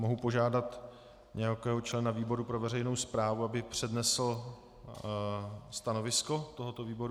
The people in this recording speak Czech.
Mohu požádat nějakého člena výboru pro veřejnou správu, aby přednesl stanovisko tohoto výboru?